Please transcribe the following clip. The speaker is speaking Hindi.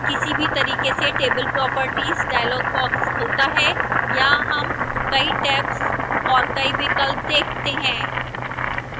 किसी भी तरीके से table properties dialog box खुलता है यहां हम कई टैब्स और कई विकल्प देखते हैं